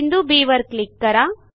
बिंदू बी वर क्लिक करा